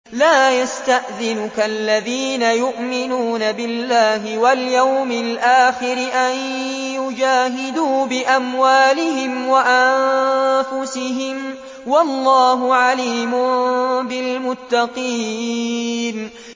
لَا يَسْتَأْذِنُكَ الَّذِينَ يُؤْمِنُونَ بِاللَّهِ وَالْيَوْمِ الْآخِرِ أَن يُجَاهِدُوا بِأَمْوَالِهِمْ وَأَنفُسِهِمْ ۗ وَاللَّهُ عَلِيمٌ بِالْمُتَّقِينَ